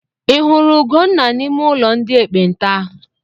Ị hụrụ Ugonna n'ime ụlọ ndị ekpenta?